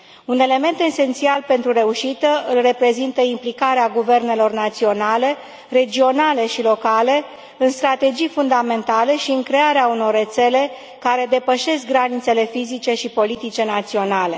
Un element esențial pentru reușită îl reprezintă implicarea guvernelor naționale, regionale și locale în strategii fundamentale și în crearea unor rețele care depășesc granițele fizice și politice naționale.